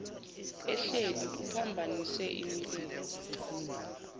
ehleli ephambanise imilenze